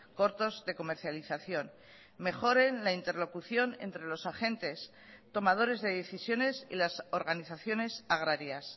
cortos de comercialización mejoren la interlocución entre los agentes tomadores de decisiones y las organizaciones agrarias